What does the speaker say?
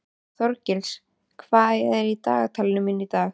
Þorgils, hvað er í dagatalinu mínu í dag?